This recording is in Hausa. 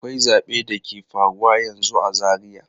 Akwai zabe da ke faruwa yanzu a Zaria.